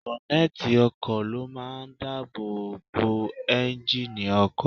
Bọ́nẹ́ẹ̀tì ọkọ̀ ló máa ń dáàbò bo ẹ́ńjíìnnì ọkọ̀.